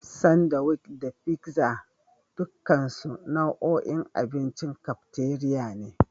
Sandiwic da figza dukansu nau'in abincin kafteriya ne.